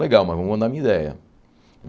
Legal, mas vou mandar minha ideia.